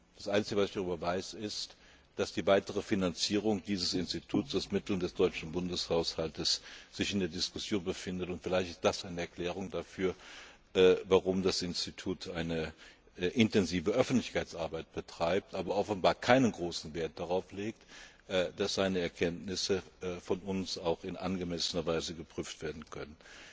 Das einzige, was ich darüber weiß, ist, dass sich die weitere Finanzierung dieses Instituts aus Mitteln des deutschen Bundeshaushalts in der Diskussion befindet. Vielleicht ist das eine Erklärung dafür, warum das Institut eine intensive Öffentlichkeitsarbeit betreibt, aber offenbar keinen großen Wert darauf legt, dass seine Erkenntnisse von uns auch in angemessener Weise geprüft werden können.